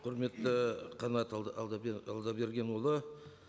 құрметті қанат алдабергенұлы